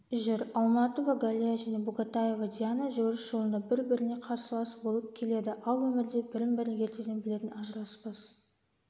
жүр алматова галия және бугатаева диана жүгіріс жолында бір-біріне қарсылас болып келеді ал өмірде бірін-бірі ертеден білетін ажыраспас